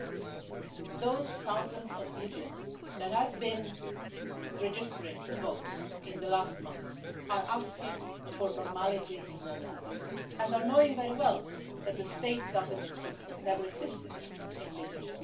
But those thousands of Libyans that have been registering to vote in the last months are asking for normality in their lives and are knowing very well that the state doesn't exist, has never existed in Libya.